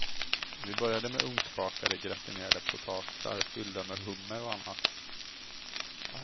Vi började med ugnsbakade, gratinerade potatisar fyllda med hummer och annat.